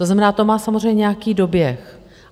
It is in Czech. To znamená, to má samozřejmě nějaký doběh.